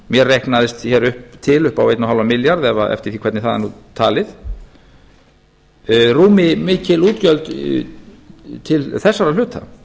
mér reiknast hér til upp á einn og hálfan milljarð eða eftir því hvernig það er nú talið rúmi mikil útgjöld til þeirra hluta